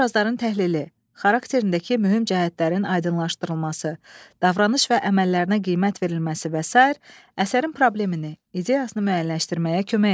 Obrazların təhlili, xarakterindəki mühüm cəhətlərin aydınlaşdırılması, davranış və əməllərinə qiymət verilməsi və sair, əsərin problemini, ideyasını müəyyənləşdirməyə kömək edir.